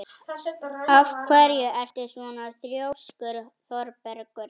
Af hverju ertu svona þrjóskur, Þorbergur?